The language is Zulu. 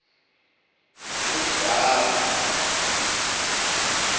olibhama